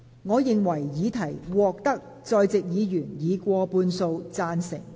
我認為議題獲得在席議員以過半數贊成。